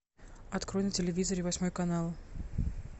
открой на телевизоре восьмой канал